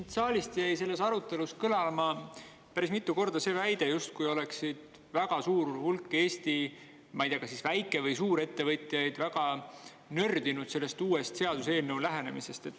Siit saalist jäi selles arutelus kõlama päris mitu korda see väide, justkui oleks väga suur hulk Eesti, ma ei tea, kas väike- või suurettevõtjaid väga nördinud sellest uuest seaduseelnõu lähenemisest.